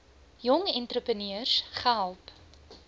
jong entrepreneurs gehelp